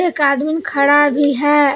एक आदमी खड़ा भी है।